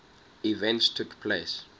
events took place